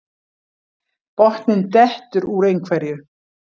Botninn dettur úr einhverju